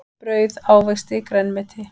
Brauð ávexti grænmeti.